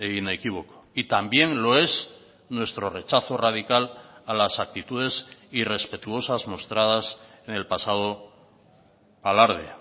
inequívoco y también lo es nuestro rechazo radical a las actitudes irrespetuosas mostradas en el pasado alarde